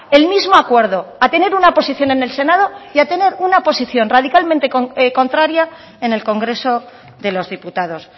el mismo acuerdo a tener una posición en el senado y a tener una posición radicalmente contraria en el congreso de los diputados